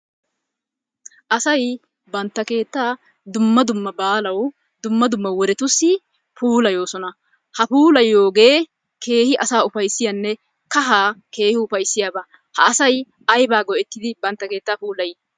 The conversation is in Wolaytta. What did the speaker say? Asay bantta keettaa dumma dumma baalawu dumma dumma wodetussi puulayoosona. Ha puulayiyogee keehi asaa ufayssiyanne kahaa keehi ufayssiyaba. Ha asay aybaa go'ettidi bantta keettaa puulay?